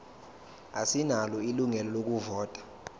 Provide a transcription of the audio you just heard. asinalo ilungelo lokuvota